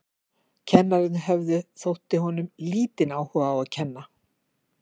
Kennararnir höfðu, þótti honum, lítinn áhuga á að kenna.